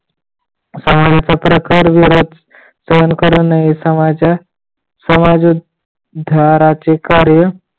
सामाजिक पत्रकार वीरच सोनखड्यांना इसमाच्या समाज उद्धाराचे कार्य